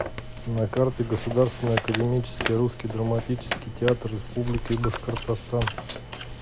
на карте государственный академический русский драматический театр республики башкортостан